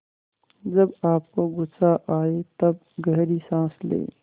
जब आपको गुस्सा आए तब गहरी सांस लें